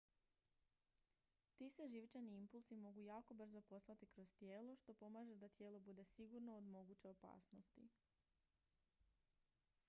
ti se živčani impulsi mogu jako brzo poslati kroz tijelo što pomaže da tijelo bude sigurno od moguće opasnosti